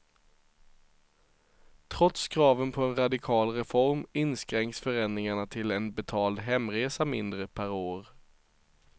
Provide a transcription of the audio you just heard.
Trots kraven på en radikal reform inskränks förändringarna till en betald hemresa mindre per år.